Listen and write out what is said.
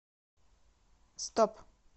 стоп